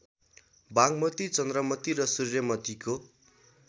बागमती चन्द्रमती र सूर्यमतीको